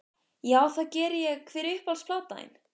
Já, það geri ég Hver er uppáhalds platan þín?